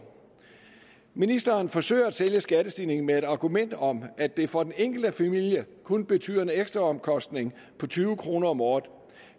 ministeren forsøger at sælge skattestigningen med et argument om at det for den enkelte familie kun betyder en ekstra omkostning på tyve kroner om året